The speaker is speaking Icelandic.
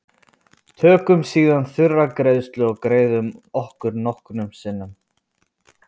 tökum síðan þurra greiðu og greiðum okkur nokkrum sinnum